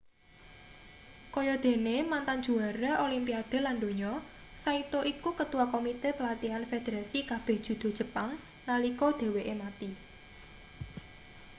kaya dene mantan juara olimpiade lan donya saito iku ketua komite pelatihan federasi kabeh judo jepang nalika dheweke mati